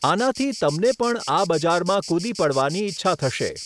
આનાથી તમને પણ આ બજારમાં કૂદી પડવાની ઇચ્છા થશે.